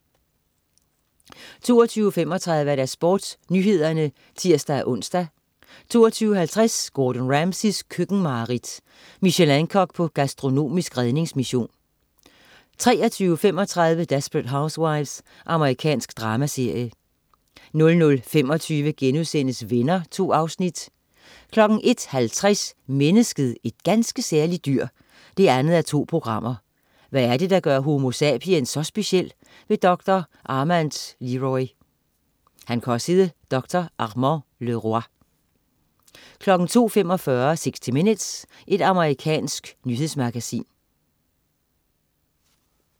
22.35 SportsNyhederne (tirs-ons) 22.50 Gordon Ramsays køkkenmareridt. Michelin-kok på gastronomisk redningsmission 23.35 Desperate Housewives. Amerikansk dramaserie 00.25 Venner.* 2 afsnit 01.50 Mennesket, et ganske særligt dyr 2:2. Hvad er det, der gør homo sapiens så speciel? Doktor Armand Leroi 02.45 60 minutes. Amerikansk nyhedsmagasin